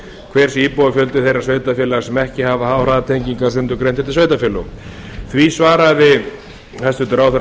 hver sé íbúafjöldi þeirra sveitarfélaga sem ekki hafa háhraðatengingar sundurgreindar eftir sveitarfélögum á í svaraði hæstvirtur ráðherra